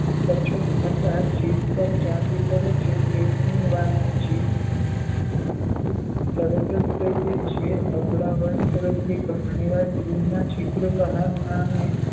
અપચો થતાં જીભ પર ચાંદી પડે છે. પેટની વાત જીભ તરત જ કહી દે છે. અબળા વર્ગ તરફથી ઘણીવાર ગૃહનાં છિદ્ર બહારનાંને